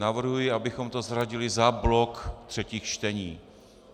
Navrhuji, abychom to zařadili za blok třetích čtení.